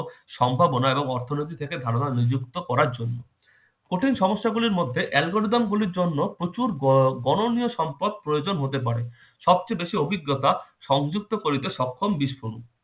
সম্ভাবনা এবং অর্থনীতি থেকে ধারণা নিযুক্ত করার জন্য কঠিন সমস্যা গুলির মধ্যে algorithm গুলির জন্য প্রচুর ব~বননীয় সম্পদ প্রয়োজন হতে পারে। সবচেয়ে বেশি অভিজ্ঞতা সংযুক্ত করিতে সক্ষম